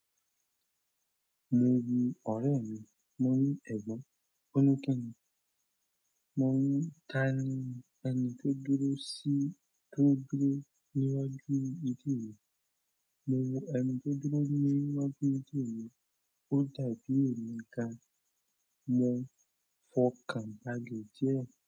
Mo wo ọ̀rẹ́ mi, mo ní ẹ̀gbọ́n. Ò ní kínni. Mo ní tani ẹni tó dúró sí tó dúró níwájú ìdí òye. Mo wò ẹni tó dúró níwájú ìdí òye, ó dàbí èmi gan mo fọkàn balẹ̀ díẹ̀